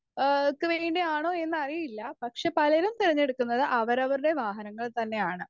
Speaker 1 ഏഹ് ക്ക് വേണ്ടിയാണോ എന്നറിയില്ല പക്ഷേ പലരും തിരഞ്ഞെടുക്കുന്നത് അവരവരുടെ വാഹനങ്ങൾ തന്നെയാണ്.